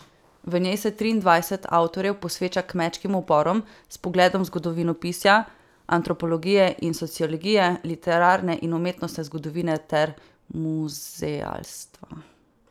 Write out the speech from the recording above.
V njej se triindvajset avtorjev posveča kmečkim uporom s pogledom zgodovinopisja, antropologije in sociologije, literarne in umetnostne zgodovine ter muzealstva.